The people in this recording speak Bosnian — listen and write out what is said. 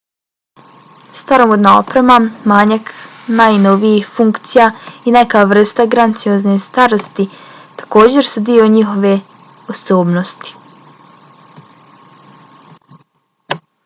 staromodna oprema manjak najnovijih funkcija i neka vrsta graciozne starosti također su dio njihove osobnosti